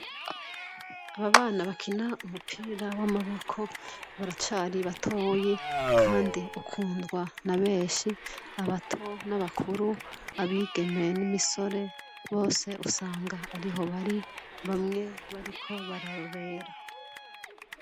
Aba bana bakina umupira wamaboko baracari batoya kandi ukundwa nabenshi abato nabakuru abigeme nimisore bose usanga ariho bari bamwe bariko bararorera